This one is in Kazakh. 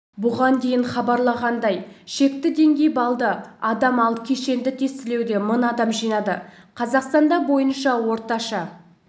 бұған дейін хабарлағандай шекті деңгей баллды адам ал кешенді тестілеуде мың адам жинады қазақстанда бойынша орташа